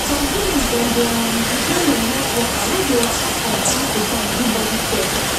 some village dem dey um depend on health worker wey dey waka come time to time do body check